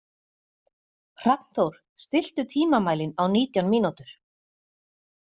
Hrafnþór, stilltu tímamælinn á nítján mínútur.